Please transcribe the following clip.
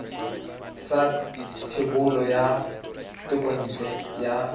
sa thebolo ya thekontle ya